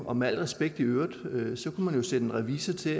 og med al respekt i øvrigt sætte en revisor til